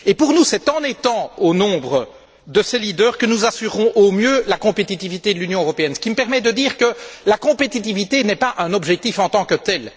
Quant à nous, c'est en étant au nombre de ces leaders que nous assurerons au mieux la compétitivité de l'Union européenne. Ce qui me permet de dire que la compétitivité n'est pas un objectif en tant que tel.